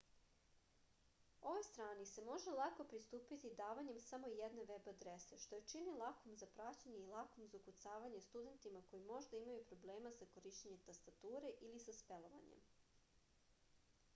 ovoj strani se može lako pristupiti davanjem samo jedne veb adrese što je čini lakom za pamćenje i lakom za ukucavanje studentima koji možda imaju problema sa korišćenjem tastature ili sa spelovanjem